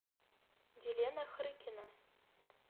елена хрыкина